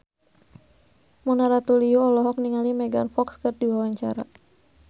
Mona Ratuliu olohok ningali Megan Fox keur diwawancara